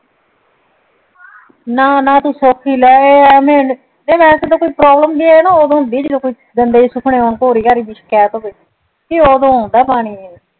ਨਾ ਨਾ ਤੂੰ ਸੋਚੀ ਲੈ ਏ ਅਵੀ ਏ ਨਾ ਉਦੋਂ ਹੁੰਦੀ ਜਦੋਂ ਗੰਦੇ ਜੇ ਪੋਰੀ ਪੂਰੀ ਦੀ ਸ਼ਿਕਾਅਤ ਹੋਵੇ ਏ ਉਦੋਂ ਓਂਦਾਂ ਪਾਣੀ